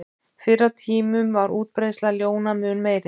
Fyrr á tímum var útbreiðsla ljóna mun meiri.